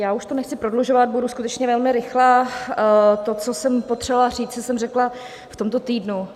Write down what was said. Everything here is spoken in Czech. Já už to nechci prodlužovat, budu skutečně velmi rychlá, to, co jsem potřebovala říct, jsem řekla v tomto týdnu.